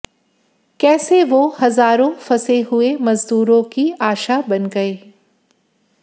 कैसे वो हजारों फंसे हुए मजदूरों की आशा बन गए